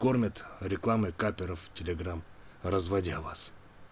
реклама капперов телеграм разводя вас